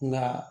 Nka